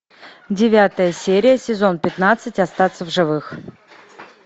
девятая серия сезон пятнадцать остаться в живых